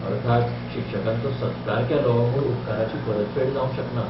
अर्थात, शिक्षकांचो सत्कार केलो म्हूण उपकाराची परतफेड जावंक शकना.